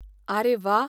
आरे, वा.